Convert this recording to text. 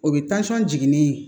O bɛ jiginni